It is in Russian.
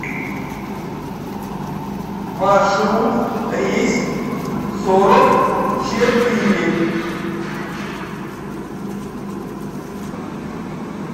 маршрут рейс сорок четыре